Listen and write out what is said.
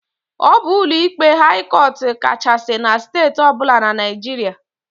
Ọ bụ ụlọikpe haị cọt kachasị na Steeti ọbụla na Naịjiria.